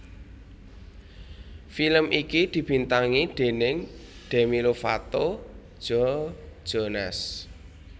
Film iki dibintangi déning Demi Lovato Joe Jonas